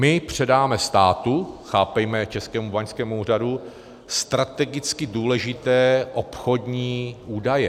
My předáme státu, chápejme Českému báňskému úřadu, strategicky důležité obchodní údaje.